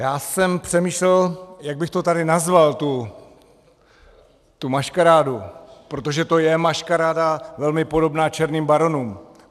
Já jsem přemýšlel, jak bych to tady nazval, tu maškarádu, protože to je maškaráda velmi podobná Černým baronům.